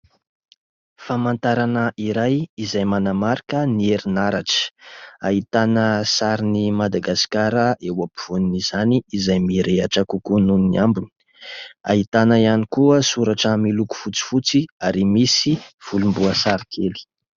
famantarana iray izay manamarika ny herinaratra, ahitana sarin'ny madagasikara eo afovoan'izany izay mirehatra kokoa noho ny ambony; ahitana ihany koa soratra miloko fotsifotsy ary misy volom-boasary kely